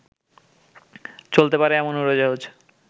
চলতে পারে এমন উড়োজাহাজ